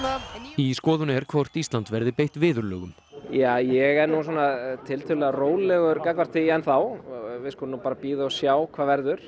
í skoðun er hvort Ísland verði beitt viðurlögum ég er tiltölulega rólegur gagnvart því enn þá við skulum bíða og sjá hvað verður